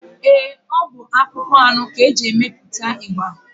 Eé, ọ bụ akpụkpọ anụ ka e ji emepụta ịgba.